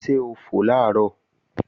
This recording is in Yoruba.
Ṣé ó fò làárọ̀?